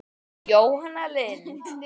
Jóhanna Lind.